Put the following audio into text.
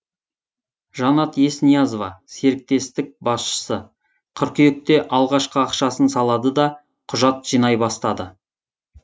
жанат есниязова серіктестік басшысы қыркүйекте алғашқы ақшасын салады да құжат жинай бастады